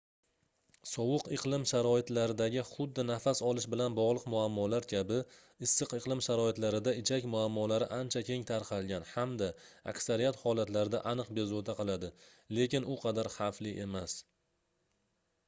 sovuq iqlim sharoitlaridagi xuddi nafas olish bilan bogʻliq muammolar kabi issiq iqlim sharoitlarida ichak muammolari ancha keng tarqalgan hamda aksariyat holatlarda aniq bezovta qiladi lekin u qadar xavfli emas